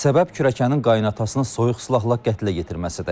Səbəb kürəkənin qayınatasını soyuq silahla qətlə yetirməsidir.